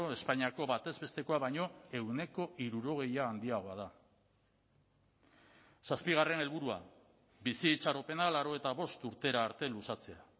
espainiako batez bestekoa baino ehuneko hirurogei handiagoa da zazpigarren helburua bizi itxaropena laurogeita bost urtera arte luzatzea